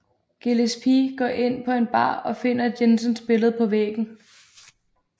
Gillespie går ind på en bar og finder Jensons billede på væggen